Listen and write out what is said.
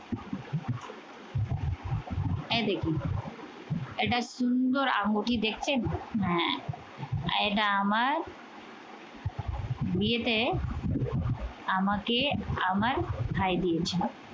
এই দেখুন একটা সুন্দর আঙ্গুঠি দেখছেন এটা আমার বিয়েতে আমাকে আমার ভাই দিয়েছিল